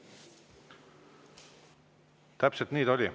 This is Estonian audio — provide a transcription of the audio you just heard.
Täpselt nii ta oli.